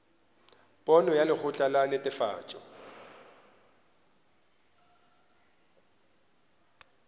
pono ya lekgotla la netefatšo